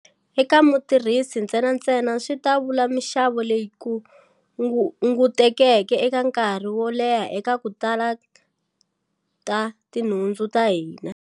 Eka mutirhisi ntsenantsena, swi ta vula mixavo leyi hungutekeke eka nkarhi wo leha eka to tala ta tinhundzu ta hina.